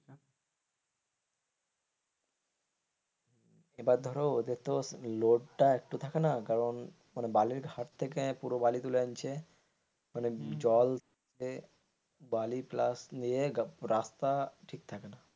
এবার ধরো ওদের তো লোভ তা একটু থাকে না কারণ বালির ঘাট থেকে বালি তুলে আনছে মানে জল বালি plus নিয়ে রাস্তা ঠিক থাকে না.